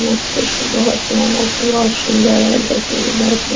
मत पूछिए बहोत भयानक है बहोत सुंदर है देखने में बहोत --